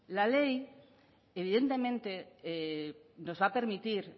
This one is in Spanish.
la ley evidentemente nos va a permitir